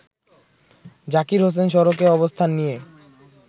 জাকির হোসেন সড়কে অবস্থান নিয়ে